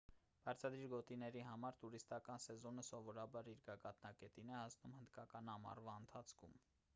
բարձադիր գոտիների համար տուրիստական սեզոնը սովորաբար իր գագաթնակետին է հասնում հնդկական ամառվա ընթացքում